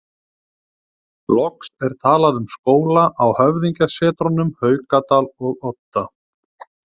Loks er talað um skóla á höfðingjasetrunum Haukadal og Odda.